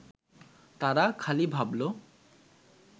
তারা খালি ভাবল